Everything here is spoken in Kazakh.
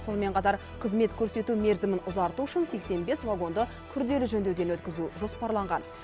сонымен қатар қызмет көрсету мерзімін ұзарту үшін сексен бес вагонды күрделі жөндеуден өткізу жоспарланған